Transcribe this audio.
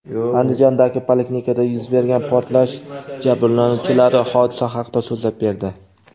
Andijondagi poliklinikada yuz bergan portlash jabrlanuvchilari hodisa haqida so‘zlab berdi.